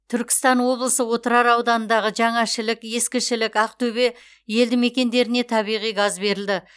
түркістан облысы отырар ауданындағы жаңа шілік ескі шілік ақтөбе елдімекендеріне табиғи газ берілді